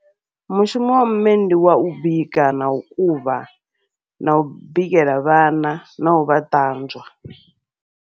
Mushumo wa mme ndi wau bika, nau kuvha, nau bikela vhana, nau vha ṱanzwa.